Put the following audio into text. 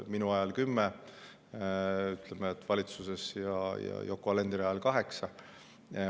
Minu ajal valitsuses olnud kümme ja Yoko Alenderi ajal kaheksa.